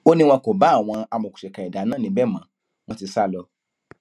ó ní wọn kò bá àwọn amòòkùnsìkà ẹdà náà níbẹ mọ wọn ti sá lọ